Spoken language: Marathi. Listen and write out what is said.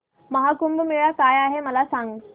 महा कुंभ मेळा काय आहे मला सांग